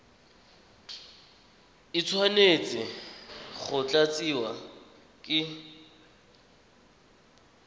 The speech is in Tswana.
e tshwanetse go tlatsiwa ke